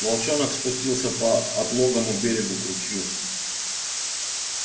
волчонок спустился по отлогому берегу к ручью